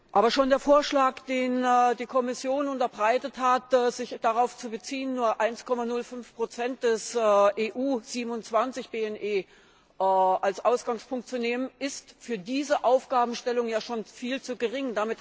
Aber schon der Vorschlag, den die Kommission unterbreitet hat, sich darauf zu beziehen, nur 1,05 des EU 27 BNE als Ausgangspunkt zu nehmen, ist für diese Aufgabenstellung ja schon viel zu gering.